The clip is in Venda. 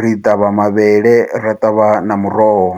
ri ṱavha mavhele ra ṱavha na muroho.